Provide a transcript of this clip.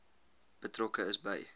betrokke is by